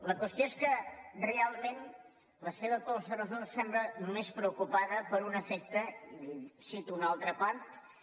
la qüestió és que realment la seva proposta de resolució sembla només preocupada per un efecte i en cito una altra part